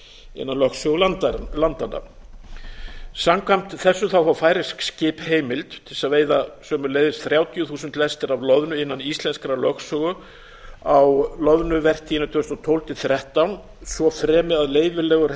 innan lögsögu landanna samkvæmt þessu fá færeysk skip heimild til þess að veiða sömuleiðis þrjátíu þúsund lestir af loðnu innan íslenskrar lögsögu á loðnuvertíðinni tvö þúsund og tólf tvö þúsund og þrettán svo fremi að leyfilegur